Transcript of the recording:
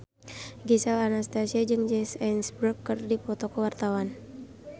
Gisel Anastasia jeung Jesse Eisenberg keur dipoto ku wartawan